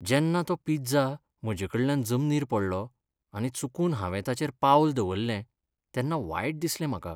जेन्ना तो पिझ्झा म्हजेकडल्यान जमनीर पडलो आनी चुकून हांवें ताचेर पावल दवरलें तेन्ना वायट दिसलें म्हाका.